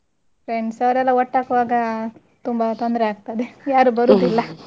Friends ಎಲ್ಲ ಒಟ್ಟಾಗುವಾಗ ತುಂಬಾ ತೊಂದ್ರೆಯಾಗ್ತದೆ ಯಾರು ಬರುದಿಲ್ಲ .